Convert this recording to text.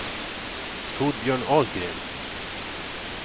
Torbjörn Ahlgren